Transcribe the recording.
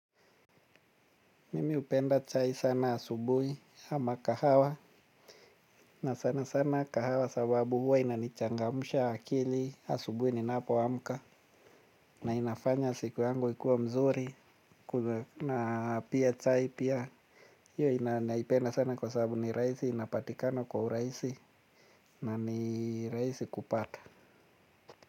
Mimi hupenda chai sana asubuhi ama kahawa na sana sana kahawa sababu huwa inanichangamsha akili asubuhi ninapoamka na inafanya siku yangu ikuwe mzuri na pia chai pia hio naipenda sana kwa sababu ni rahisi inapatikana kwa urahisi na ni raisi kupata.